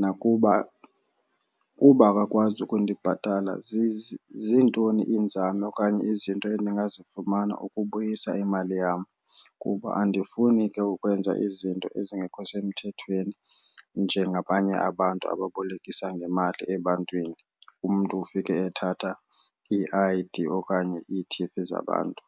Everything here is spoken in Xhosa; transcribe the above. nakuba uba akakwazi ukundibhatalela zintoni iinzame okanye izinto endingazifumana ukubuyisa imali yam. Kuba andifuni ke ukwenza izinto ezingekho semthethweni njengabanye abantu ababolekisa ngemali ebantwini umntu ufike ethatha ii-I_D okanye ii-T_V zabantu.